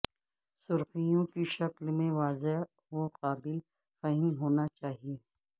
سرخیوں کی شکل میں واضح اور قابل فہم ہونا چاہئے